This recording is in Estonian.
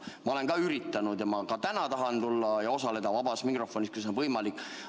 Ma olen siiski üritanud ja ma ka täna tahan tulla ja osaleda vabas mikrofonis, kui see on võimalik.